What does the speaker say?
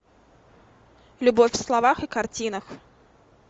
любовь в словах и картинах